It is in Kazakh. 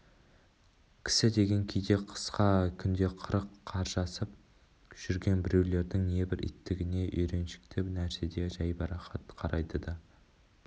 кісі деген кейде қысқа күнде қырық қаржасып жүрген біреулердің небір иттігіне үйреншікті нәрседей жайбарақат қарайды да